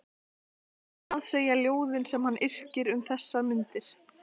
En annað segja ljóðin sem hann yrkir um þessar mundir